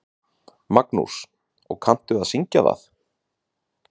Magnús: Og kanntu að syngja það?